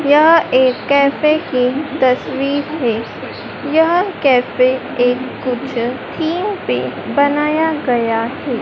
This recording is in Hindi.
यह एक कैफे की तस्वीर है यह कैफे एक कुछ थीम पे बनाया गया है।